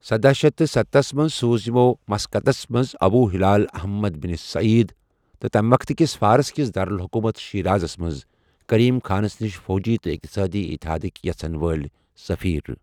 سداہ شیتھ تہٕ ستتھَ منٛز سوٗزۍ یمو مسقطس منٛز Abu Hilal Ahmad bin Said تہٕ تمہِ وقتہٕ کِس فارس کِس دارالحکومت شیرازس منٛز کریم خانس نشہِ فوجی تہٕ اِقتصٲدی اتحادکۍ یژھن وٲلۍ سفیر۔